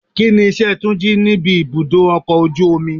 Kíni iṣẹ́ Túnjí níbi ibùdó ọkọ̀ ojú omi?